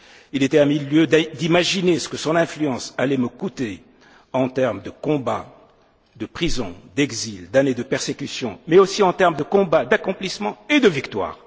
hommes. Il était à mille lieues d'imaginer ce que son influence allait me coûter en termes de combats, de prison, d'exil, d'années de persécution, mais aussi en termes de combats, d'accomplissements et de victoires.